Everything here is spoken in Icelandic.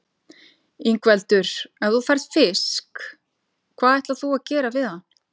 Ingveldur: Ef þú færð fisk, hvað ætlar þú að gera við hann?